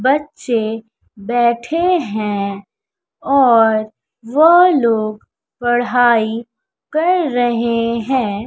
बच्चे बैठे हैं और वह लोग पढ़ाई कर रहे हैं।